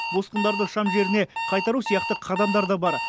босқындарды шам жеріне қайтару сияқты қадамдар да бар